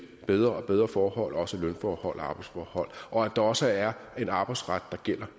bedre og bedre forhold også lønforhold og arbejdsforhold og at der også er en arbejdsret der gælder